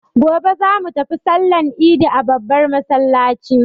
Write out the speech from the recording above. Gobe za mu tafi sallan idi a babbar masallaci.